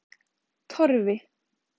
Torfi